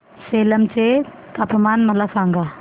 सेलम चे तापमान मला सांगा